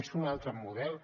és un altre model